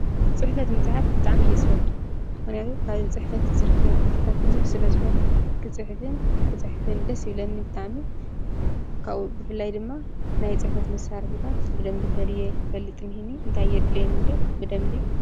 ፅሕፈት ምፅሓፍ ብጣዕሚ እየ ዝፈቱ፡፡ ምክንያቱ ካብ ፅሕፈት ዝርከብ ፍልጠት ቡዙሕ ስለዝኮነ ክፅሕፍን ክፅሕፍን ደስ ይብለኒ ብጣዕሚ፡፡ ካብኡ ብፍላይ ድማ ናይ ፅሕፈት መሳርሒታት ብደንቢ ፈልየ ክፈልጥ እኒሄኒ፡፡ እንታይ የድልየኒ ብደንቢ።